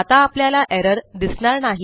आता आपल्याला एरर दिसणार नाही